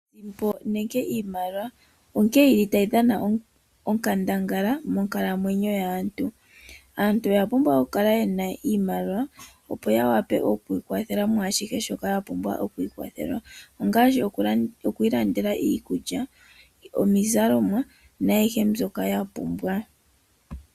Iimaliwa onkee yili tayi dhana onkandangala moonkalamwenyo dhaantu, aantu oya pumbwa okukala yena iimaliwa opo yawape okwiikwathela mwashihe shoka ya pumbwa ngaashi okwii landela iikulya, iizalomwa naayihe mbyoka ya pumbwa.